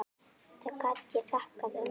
Það get ég þakkað ömmu.